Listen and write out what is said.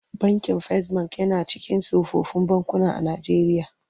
Bankin Fas Bank yana daga cikin tsofaffin bankuna a Najeriya.